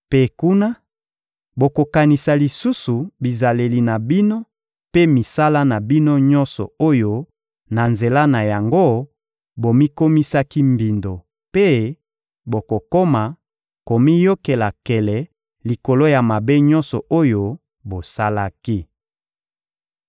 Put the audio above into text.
Mpe kuna, bokokanisa lisusu bizaleli na bino mpe misala na bino nyonso oyo na nzela na yango, bomikosaki mbindo mpe bokokoma komiyokela nkele likolo ya mabe nyonso oyo bosalaki.